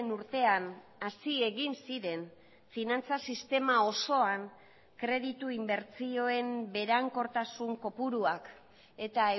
urtean hasi egin ziren finantza sistema osoan kreditu inbertsioen berankortasun kopuruak eta